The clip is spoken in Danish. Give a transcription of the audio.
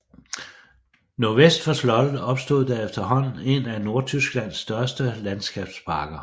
Nordvest for slottet opstod der efterhånden en af Nordtysklands største landskabsparker